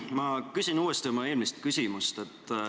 Ma küsin uuesti oma eelmise küsimuse.